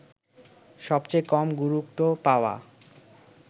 সবচেয়ে কম গুরুত্ব পাওয়া